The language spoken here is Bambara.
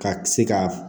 Ka se ka